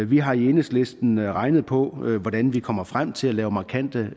vi har i enhedslisten regnet på hvordan vi kommer frem til at lave markante